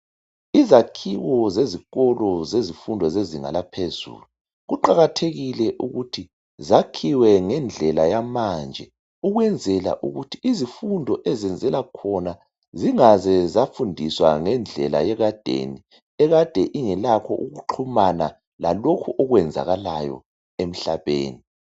Izakhiwo zezikolo zezifundo zezinga laphezulu kuqakathekile ukuthi zakhiwe ngendlela yamanje ukwenzela ukuthi izifundo ezenzelwa khona zingaze zafundiswa ngendlela yekadeni ekade ingelakho ukuxhumana lalokhu okwenzakalayo emhlabeni.